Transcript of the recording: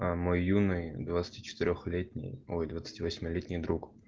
а мой юный двадцати четырёх летний ой двадцати восьми летний друг